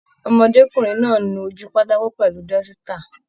Ọmọdékunrin náà nu ojú pátákó pẹlú dọ́sítà.